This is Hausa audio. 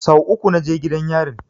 Sau uku na je gidan yarin